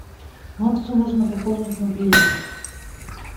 максу нужно пополнить мобильный